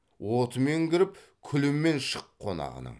отымен кіріп күлімен шық қонағының